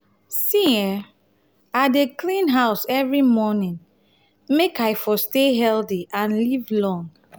see[um]i dey clean house every morning make i for stay healthy and live long.